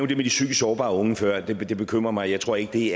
det med de psykisk sårbare unge før det bekymrer mig jeg tror ikke det